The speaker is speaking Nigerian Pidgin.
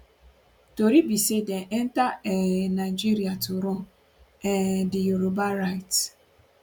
tori be say dem enta um nigeria to run um di yoruba rights